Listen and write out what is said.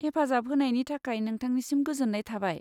हेफाजाब होनायनि थाखाय नोंथांनिसिम गोजोन्नाय थाबाय।